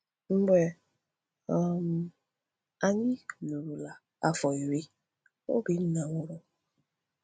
Mgbe um anyị lụrụla afọ iri, Obinna nwụrụ.